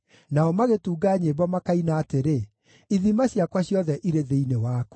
Nao magĩtunga nyĩmbo makaina atĩrĩ, “Ithima ciakwa ciothe irĩ thĩinĩ waku.”